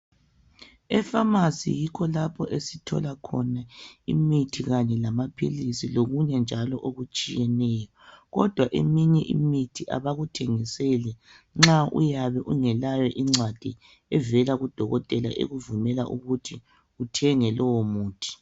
Ephamarcy yikho lapho esithola khona imithi kanye lamaphilisi lokunye njalo okutshiyeneyo kodwa eminye imithi abakuthengiseli nxa uyabe ungelayo incwadi evela kudokotela ekuvumela ukuthi uthenge lowo muthi